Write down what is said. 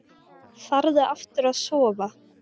Farðu aftur að sofa.